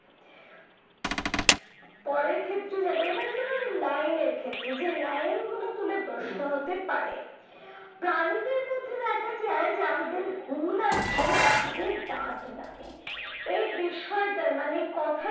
পরের ক্ষেত্রে যাবো, এবার line এর ক্ষেত্রে, যে line গুলো তুলে প্রশ্ন হতে পারে। প্রাণীদের মধ্যে দেখা যায় যাহাদের হুল আছে তাহাদের দাঁত নাই। এই বিষয়টার মানে কথাটার